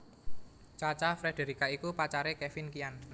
Cha Cha Frederica iku pacaré Kevin Kian